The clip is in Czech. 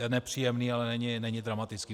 Je nepříjemný, ale není dramatický.